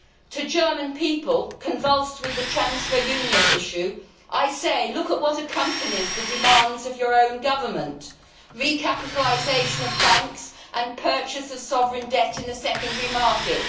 To the German people, convulsed with the transfer union' issue, I say look at what accompanies the demands of your own government recapitalisation of banks and purchase of sovereign debt in a secondary market'.